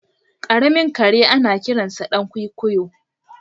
Karamin kare anakiransa dan kwikwiyo.